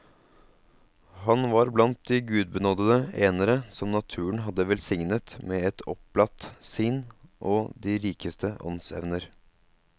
Han var blant de gudbenådede enere som naturen hadde velsignet med et opplatt sinn og de rikeste åndsevner.